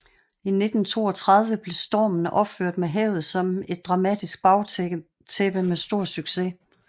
I 1932 blev Stormen opført med havet som et dramatisk bagtæppe med stor succes